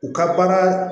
U ka baara